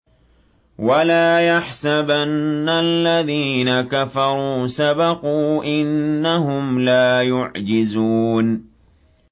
وَلَا يَحْسَبَنَّ الَّذِينَ كَفَرُوا سَبَقُوا ۚ إِنَّهُمْ لَا يُعْجِزُونَ